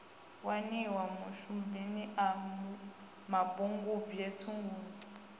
waniwa mashubini a mapungubwe tshugulu